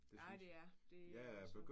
Ja det er. Det